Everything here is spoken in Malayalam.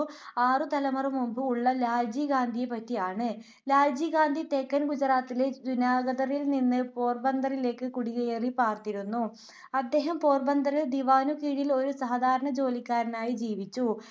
ആറു തലമുറ മുൻപ് ഉള്ള ലാൽജി ഗാന്ധിയെ പറ്റി ആണ്. ലാൽജി ഗാന്ധി തെക്കൻ ഗുജറാത്തിലെ ജുനാഗധിൽ നിന്ന് പോർബന്തറിലേക്ക് കുടിയേറി പാർത്തിരുന്നു. അദ്ദേഹം പോർബന്ദറിൽ ദിവാനു കീഴിൽ ഒരു സാധാരണ ജോലിക്കാരനായി ജീവിച്ചു. അദ്ദേഹത്തെ പിന്തുടർന്ന തലമുറക്കാരും അതെ ജോലി ചെയ്തു ജീവിച്ചു.